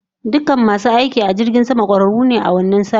Dukan masu aiki a jirgin sama, kwararu ne a wannan sashin